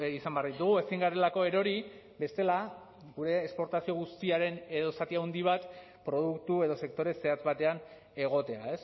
izan behar ditugu ezin garelako erori bestela gure esportazio guztiaren edo zati handi bat produktu edo sektore zehatz batean egotea